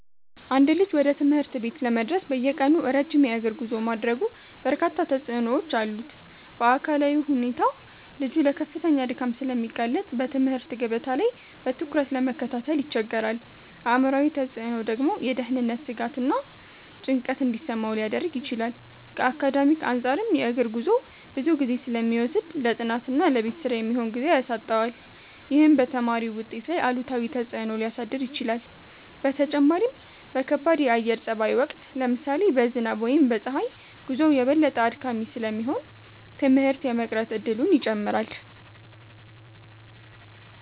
አንድ ልጅ ወደ ትምህርት ቤት ለመድረስ በየቀኑ ረጅም የእግር ጉዞ ማድረጉ በርካታ ተጽዕኖዎች አሉት። በአካላዊ ሁኔታ ልጁ ለከፍተኛ ድካም ስለሚጋለጥ በትምህርት ገበታ ላይ በትኩረት ለመከታተል ይቸገራል። አእምሯዊ ተጽዕኖው ደግሞ የደህንነት ስጋትና ጭንቀት እንዲሰማው ሊያደርግ ይችላል። ከአካዳሚክ አንፃርም የእግር ጉዞው ብዙ ጊዜ ስለሚወስድ ለጥናትና ለቤት ስራ የሚሆን ጊዜ ያሳጣዋል። ይህም በተማሪው ውጤት ላይ አሉታዊ ተጽዕኖ ሊያሳድር ይችላል። በተጨማሪም በከባድ የአየር ጸባይ ወቅት (ለምሳሌ በዝናብ ወይም በፀሐይ) ጉዞው የበለጠ አድካሚ ስለሚሆን ትምህርት የመቅረት እድሉን ይጨምራል።